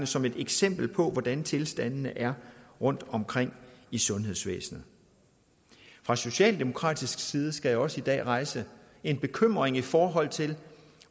som et eksempel på hvordan tilstandene er rundtomkring i sundhedsvæsenet fra socialdemokratisk side skal jeg også i dag rejse en bekymring i forhold til